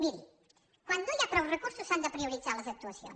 miri quan no hi ha prou recursos s’han de prioritzar les actuacions